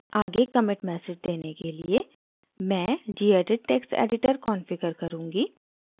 आगे commit message देने के लिए मैं gedit text editor configure करुँगी